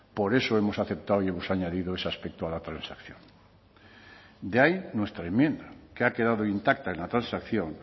por eso hemos aceptado y hemos añadido ese aspecto a la transacción de ahí nuestra enmienda que ha quedado intacta en la transacción